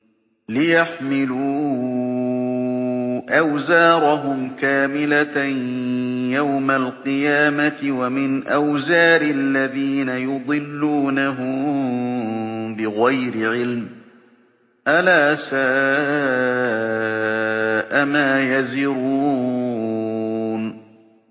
لِيَحْمِلُوا أَوْزَارَهُمْ كَامِلَةً يَوْمَ الْقِيَامَةِ ۙ وَمِنْ أَوْزَارِ الَّذِينَ يُضِلُّونَهُم بِغَيْرِ عِلْمٍ ۗ أَلَا سَاءَ مَا يَزِرُونَ